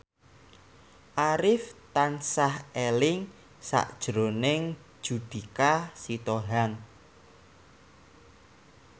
Arif tansah eling sakjroning Judika Sitohang